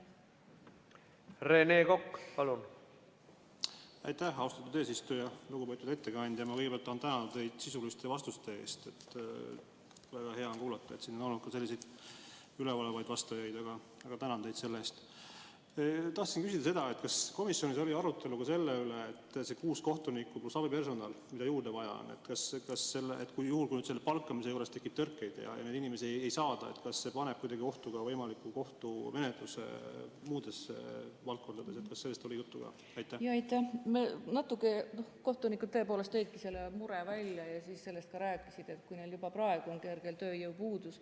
Aga ega me komisjonis selliseid peensusi uurijate töös ja menetlejate töös ei arutanud.